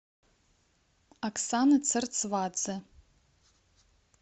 оксана церцвадзе